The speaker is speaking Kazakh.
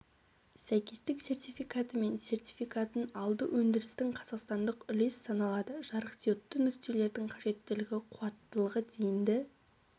сәйкестік сертификаты мен сертификатын алды өндірістің қазақстандық үлес саналады жарықдиодты нүктелердің қажеттілігі қуаттылығы дейінді